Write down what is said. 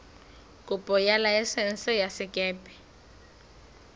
kopo ya laesense ya sekepe